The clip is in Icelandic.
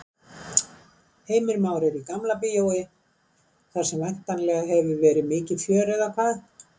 Heimir Már er í Gamla bíói þar sem væntanlega hefur verið mikið fjör eða hvað?